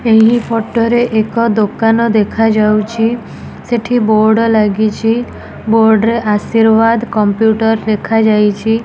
ଏହି ଫଟୋ ରେ ଏକ ଦୋକାନ ଦେଖାଯାଉଚି। ସେଠି ବୋର୍ଡ ଲାଗିଚି ବୋର୍ଡ୍ ରେ ଆଶୀର୍ବାଦ୍ କମ୍ପ୍ୟୁଟର୍ ଲେଖାଯାଇଚି।